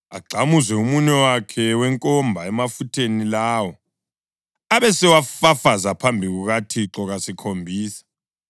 agxamuze umunwe wakhe wenkomba emafutheni lawo, abesewafafaza phambi kukaThixo kasikhombisa.